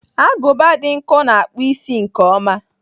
Agụba dị nkọ na-akpụ isi nke ọma.